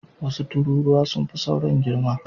Wasu tururuwa sun fi sauran girma.